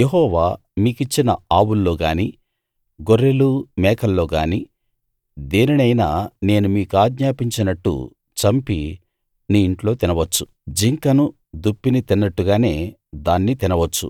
యెహోవా మీకిచ్చిన ఆవుల్లో గాని గొర్రెలు మేకల్లో గాని దేనినైనా నేను మీకాజ్ఞాపించినట్టు చంపి నీ ఇంట్లో తినవచ్చు జింకను దుప్పిని తిన్నట్టుగానే దాన్ని తినవచ్చు